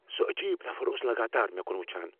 سہ عجیٖب نفر اوس لگاتار مےٚ کن وٕچھان۔